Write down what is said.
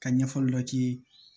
Ka ɲɛfɔli dɔ k'i ye